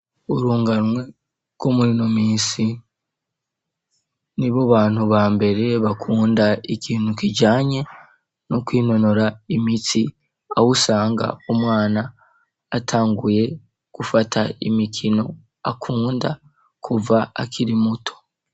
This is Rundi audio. urunganwe rwo murino misi ni bo bantu ba mbere bakunda ikintu kijanye no kwinonora imitsi ahusanga umwana atanguye gufata imikino akunda kuva akiri muto